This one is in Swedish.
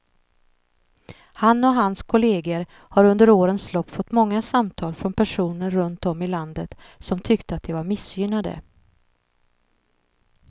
Han och hans kolleger har under årens lopp fått många samtal från personer runt om i landet som tyckte att de var missgynnade.